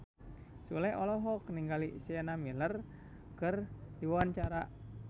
Sule olohok ningali Sienna Miller keur diwawancara